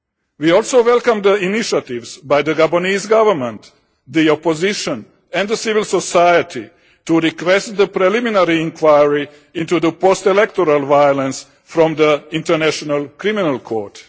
We also welcome the initiatives by the Gabonese Government, the opposition and civil society to request a preliminary inquiry into the post-electoral violence from the International Criminal Court.